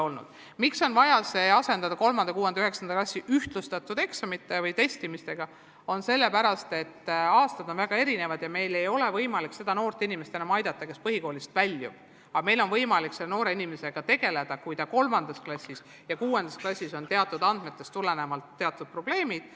Põhjus, miks on vaja minna üle 3., 6. ja 9. klassi ühtlustatud eksamitele või testimisele, on selles, et aastad on väga erinevad ja meil ei ole võimalik aidata seda noort inimest, kes põhikoolist väljub, küll aga on meil võimalik tegeleda temaga siis, kui 3. ja 6. klassis kogutud andmete põhjal selgub, et tal on teatud probleemid.